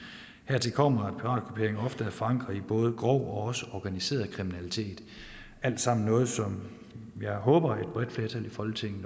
hertil kommer at er forankret i både grov og også organiseret kriminalitet alt sammen noget som jeg håber et bredt flertal i folketinget